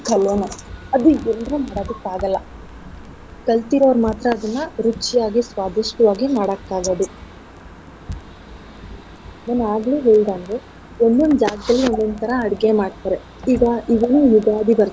ಕಲೆನೆೇ ಅದ್ ಎಲ್ರು ಮಾಡೋದಿಕ್ ಆಗಲ್ಲ ಕಲ್ತಿರೋರ್ ಮಾತ್ರ ಅದನ್ನ ರುಚಿಯಾಗಿ ಸ್ವಾದಿಷ್ಟವಾಗಿ ಮಾಡಕ್ ಆಗೋದು. ನಾನ್ ಆಗ್ಲೆ ಹೇಳ್ಲ್ದಂಗೆ ಒಂದೊಂದ್ ಜಾಗ್ದಲ್ ಒಂದೊಂದ್ ತರ ಅಡ್ಗೆ ಮಾಡ್ತಾರೆ. ಈಗ ಯುಗಾದಿ ಬರ್ತಾ.